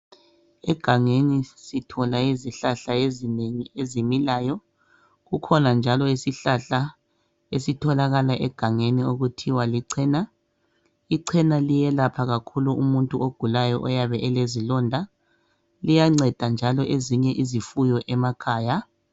Egangeni sithola izihlahla ezinengi ezimilayo kukhona njalo isihlahla esitholakala egangeni okuthiwa licena, icena liyelapha kakhulu umuntu ogulayo oyabe elezilonda liyanceda njalo ezinye izifuyo emakhaya.